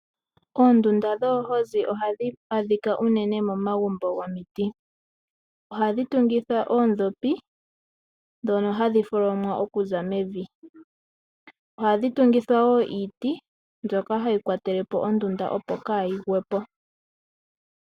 Oondunda dhoohozi ohadhi adhika unene momagumbo gomiti. Ohadhi tungithwa oondhopi ndhono hadhi tholomwa okuza mevi. Ohadhi tungithwa wo iiti mbyoka hayi kwatele po ondunda opo kaa yi gwe po.